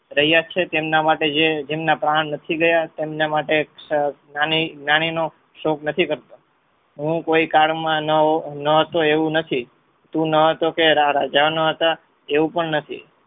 હયાત છે જેમના માટે જે જેમના પ્રાણ નથી ગયા તેમના માટે જ્ઞાની નો શોક નથી કરતો હું કોઈ કલ માં ન હોવ એવું નથી તું ન હતો કે રાજા ન હતા એવું પણ નથી